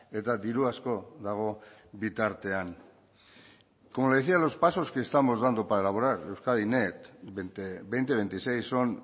eta diru asko dago bitartean como le decía los pasos que estamos dando para elaborar euskadi net veinte veintiséis son